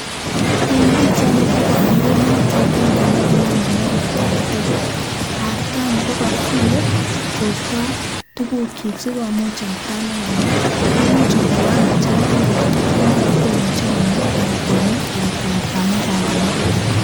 En pichaini ko kobor mureniot akeng'e nekanam inendet artet artani ko kosilee kosto tukukyik sikomuch artani koner, imuch ko kwaan kochang'a en borto komotokomuje koner alaan kwomis alaan kwendot amuun koran konyikis.